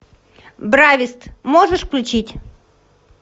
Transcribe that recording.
бравист можешь включить